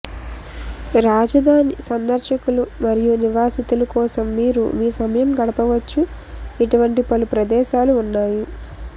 రాజధాని సందర్శకులు మరియు నివాసితులు కోసం మీరు మీ సమయం గడపవచ్చు ఇటువంటి పలు ప్రదేశాలు ఉన్నాయి